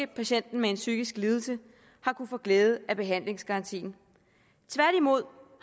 patienten med en psykisk lidelse har kunnet få glæde af behandlingsgarantien tværtimod